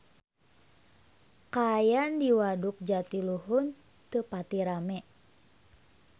Kaayaan di Waduk Jatiluhur teu pati rame